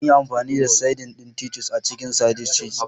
Zanyi amfani da saidin ɗin Titus a cikin sandwich ɗin.